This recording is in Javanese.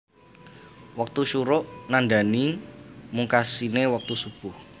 Wektu syuruq nandhani mungkasiné wektu Shubuh